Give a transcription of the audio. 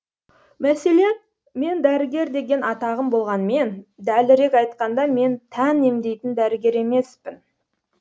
мәселен мен дәрігер деген атағым болғанмен дәлірек айтқанда мен тән емдейтін дәрігер емеспін